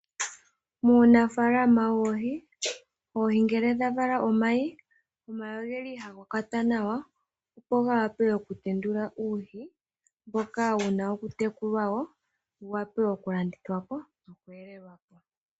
Muunafaalama woohi, oohi ngele dhavala omayi, omayi ogeli haga kwatwa nawa opo gawape okutendula uuhi mboka wuna okutekulwa , wuwape okulandithwapo nokweelelwapo.